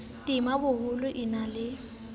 tema boholo e na le